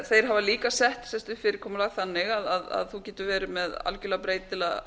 þeir hafa líka sett fyrirkomulag þannig að þú getur verið með algjörlega breytilega